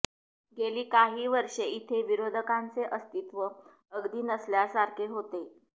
गेली काही वर्ष इथे विरोधकांचे अस्तित्व अगदी नसल्यासारखे होते